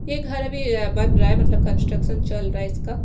यह घर अभी बन रहा है मतलब कन्ट्रकशं चल रहा है इसका--